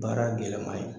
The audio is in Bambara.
Baara gɛlɛman ye